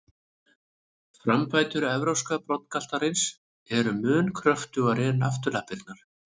Framfætur evrópska broddgaltarins eru mun kröftugri en afturlappirnar.